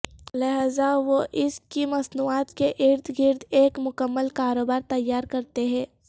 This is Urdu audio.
لہذا وہ اس کی مصنوعات کے ارد گرد ایک مکمل کاروبار تیار کرتے ہیں